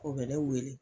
O bɛ ne wele